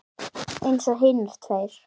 Eins og hinir tveir.